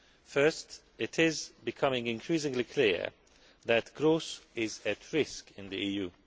First, it is becoming increasingly clear that growth is at risk in the EU.